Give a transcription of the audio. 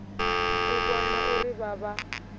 u vhona uri vha vha